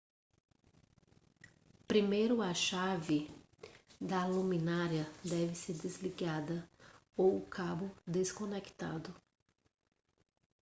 primeiro a chave da luminária deve ser desligada ou o cabo desconectado